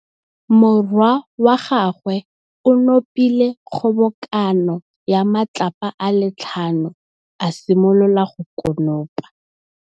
Morwa wa gagwe o nopile kgobokanô ya matlapa a le tlhano, a simolola go konopa.